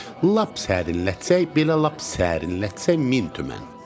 Lap sərinlətsək belə, lap sərinlətsək min tümən.